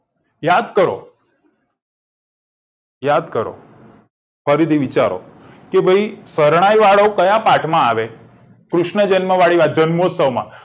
યાદ કરો યાદ કરો ફરીથી વિચારો કે ભઈ શરણાઈ વાળો ક્યાં પાઠમાં આવે કૃષ્ણ જન્મ વાળી વાત છે જન્મોત્સવ માં